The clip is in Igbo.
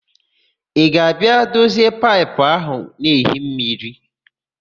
Ị ga-abịa dozie paịpụ áhụ̀ na-ehi mmiri?